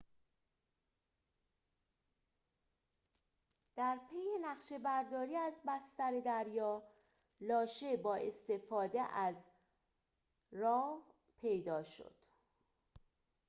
در پی نقشه‌برداری از بستر دریا لاشه با استفاده از rov پیدا شد